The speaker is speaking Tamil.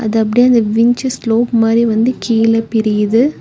அது அப்படியே அந்த வின்ச் ஸ்லோப் மாறி வந்து கீழ பிரியுது.